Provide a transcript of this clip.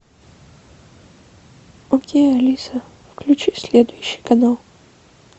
окей алиса включи следующий канал